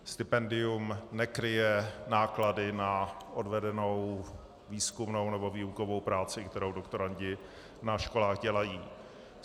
Stipendium nekryje náklady na odvedenou výzkumnou nebo výukovou práci, kterou doktorandi na školách dělají.